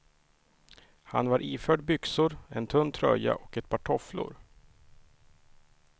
Han var iförd byxor, en tunn tröja och ett par tofflor.